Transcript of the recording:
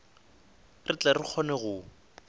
re tle re kgone go